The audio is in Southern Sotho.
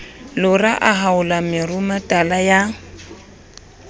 lora a haola meruemetala ya